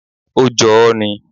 Ó jọ ọ́ ni.